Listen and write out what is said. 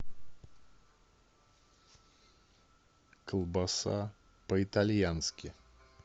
колбаса по итальянски